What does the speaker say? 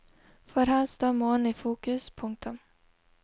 For her står månen i fokus. punktum